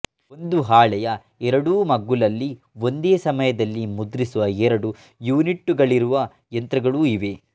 ಒಂದು ಹಾಳೆಯ ಎರಡೂ ಮಗ್ಗುಲಲ್ಲಿ ಒಂದೇ ಸಮಯದಲ್ಲಿ ಮುದ್ರಿಸುವ ಎರಡು ಯೂನಿಟ್ಟುಗಳಿರುವ ಯಂತ್ರಗಳೂ ಇವೆ